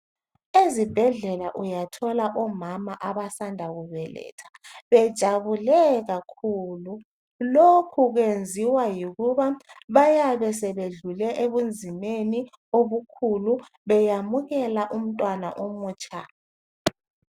Ezibhedlela uyathola omama abasanda kubeletha bejabule kakhulu. Lokhu kwenziwa yikuba bayabe sebedlule ebunzimeni obukhulu beyamukela umntwana omutsha.